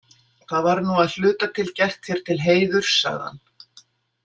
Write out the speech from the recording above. Það var nú að hluta til gert þér til heiðurs, sagði hann.